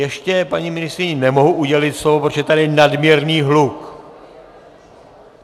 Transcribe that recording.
Ještě paní ministryni nemohu udělit slovo, protože je tady nadměrný hluk.